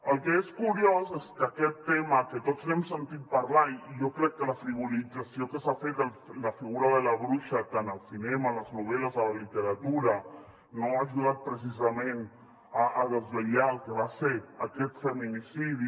el que és curiós és que aquest tema que tots n’hem sentit parlar i jo crec que la frivolització que s’ha fet la figura de la bruixa tant al cinema a les novel·les a la literatura no ha ajudat precisament a desvetllar el que va ser aquest feminicidi